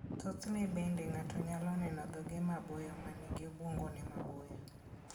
Thothne bende ng'ato nyalo neno dhoge maboyo ma nigi obwongone maboyo.